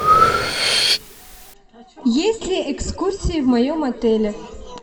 есть ли экскурсии в моем отеле